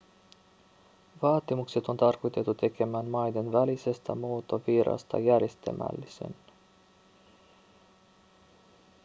vaatimukset on tarkoitettu tekemään maiden välisestä muuttovirrasta järjestelmällisen